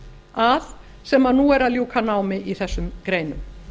að sem nú er að ljúka námi í þessum greinum